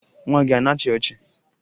Nwa gị a na-achị ọchị?